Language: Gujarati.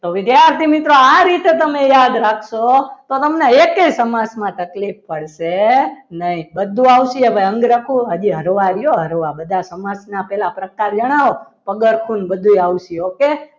તો વિદ્યાર્થી મિત્રો આ રીતે તમે યાદ રાખશો તો તમને એકે સમાસમાં તકલીફ પડશે નહીં બધું આવશે ભાઈ ઠંડ રખો ફરવા રહ્યો હળવા બધા સમાસના પહેલા પ્રકાર જણાવો પગાર કોઈને બધું આવશે okay